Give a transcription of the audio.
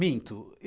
Minto.